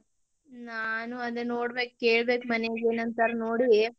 ನಾನು ಅದೇ ನೋಡ್ಬೇಕ್, ಕೇಳ್ಬೇಕ್ ಮನ್ಯಾಗ ಏನ್ ಅಂತಾರ ನೋಡಿ.